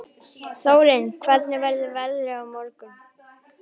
Þórinn, hvernig verður veðrið á morgun?